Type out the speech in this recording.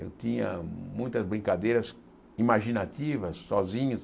Eu tinha muitas brincadeiras imaginativas, sozinho.